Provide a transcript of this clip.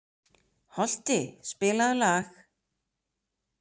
Holti, spilaðu lag.